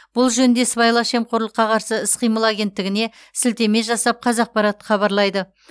бұл жөнінде сыбайлас жемқорлыққа қарсы іс қимыл агенттігіне сілтеме жасап қазақпарат хабарлайды